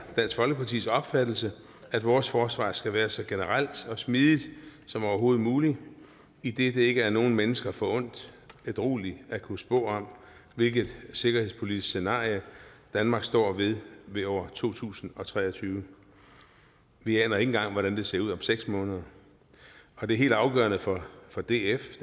dansk folkepartis opfattelse at vores forsvar skal være så generelt og smidigt som overhovedet muligt idet det ikke er nogen mennesker forundt ædrueligt at kunne spå om hvilket sikkerhedspolitisk scenarie danmark står ved i år to tusind og tre og tyve vi aner ikke engang hvordan det ser ud om seks måneder det helt afgørende for for df